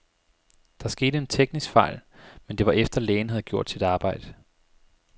Der skete en teknisk fejl, men det var efter, lægen havde gjort sit arbejde.